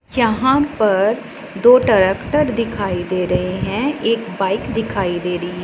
यहां पर दो ट्रैक्टर दिखाई दे रहे हैं एक बाइक दिखाई दे री--